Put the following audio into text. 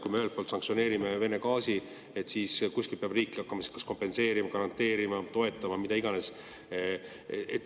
Me ühelt poolt sanktsioneerime Vene gaasi, aga kuskilt peab riik hakkama kas kompenseerima, garanteerima, toetama – mida iganes.